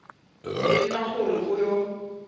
le nna gore o yo